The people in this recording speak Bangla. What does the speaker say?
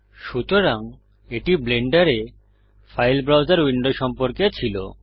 সুতরাং এটি ব্লেন্ডারে ফাইল ব্রাউসের উইন্ডো সম্পর্কে ছিল